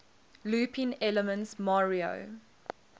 looping elements mario